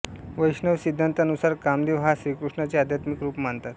वैष्णव सिद्धान्तानुसार कामदेव हा श्रीकृष्णाचे आध्यात्मिक रूप मानतात